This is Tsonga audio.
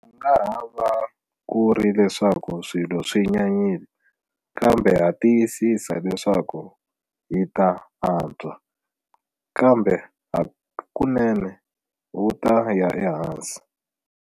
Ku nga ha va ku ri leswaku swilo swi nyanyile, kambe ha tiyisisa leswaku hi ta antswa. Kambe hakunene wu ta ya ehansi.